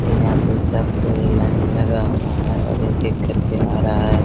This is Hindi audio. ये यहाँ पे सब कोई लाइन लगा हुआ है और एक एक कर के आ रहा है ।